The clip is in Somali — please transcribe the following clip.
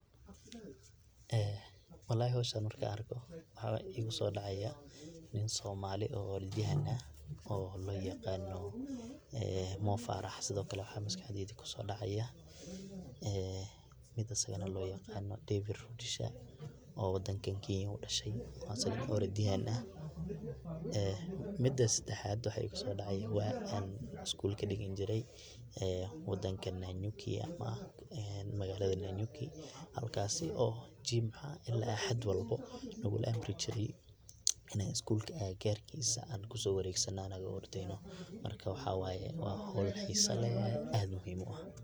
Walahi howshan markan arko waxa igusodaca nn somali oo ordyahan ah oo loyaqano Mo Farah sido kale waxa maskaxdeyda kusodacaya mid asagana loyaqana David Rudisha oo wadankan Kenya udashe oo asagana orodyahan ah, mida sadexad waxa igusodaca wa an iskul kadigan jiray magalada Nyanyuki halkasi oo jimca ila axad walbo naluguamri jiray in an skulka agagarkisa an kusowaregsano anago ordeyno marka waxa waye howl xisa leh aadna muhiim uah.